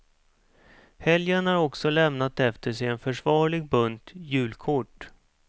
Helgen har också lämnat efter sig en försvarlig bunt julkort.